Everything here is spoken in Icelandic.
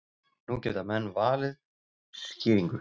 Nú geta menn valið skýringu.